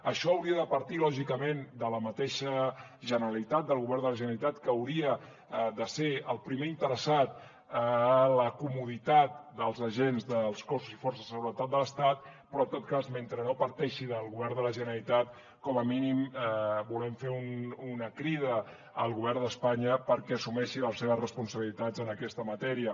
això hauria de partir lògicament de la mateixa generalitat del govern de la generalitat que hauria de ser el primer interessat a la comoditat dels agents dels cossos i forces de seguretat de l’estat però en tot cas mentre no parteixi del govern de la generalitat com a mínim volem fer una crida al govern d’espanya perquè assumeixi les seves responsabilitats en aquesta matèria